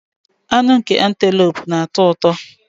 Anụ nke Antelope na-atọ ụtọ